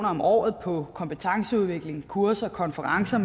om året på kompetenceudvikling kurser og konferencer